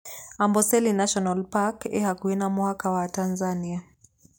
Amboseli National Park ĩĩ hakuhĩ na mũhaka wa Tanzania.